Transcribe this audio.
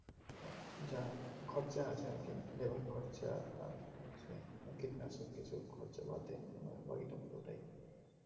যা খরচা আছে আর কি যে লেবার খরচা আর হচ্ছে কীটানাশক কিছু খরচা বাধে বাকিটা পুরোটাই